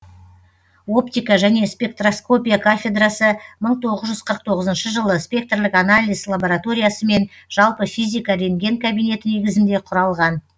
оптика және спектроскопия кафедрасы мың тоғыз жүз қырық тоғызыншы жылы спектрлік анализ лабораториясы мен жалпы физика ренген кабинеті негізінде құралған